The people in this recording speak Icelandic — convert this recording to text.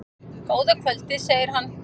Góða kvöldið, segir hann.